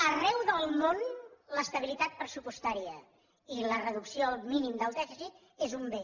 arreu del món l’estabilitat pressupostària i la reducció al mínim del dèficit és un bé